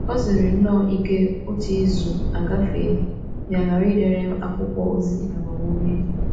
O siri nnọọ ike otu izu agafee ya aghara idere m akwụkwọ ozi agbamume.